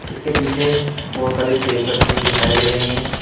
इसके पीछे बहोत सारी सेफ रखी हुई दिखाई दे रही हैं।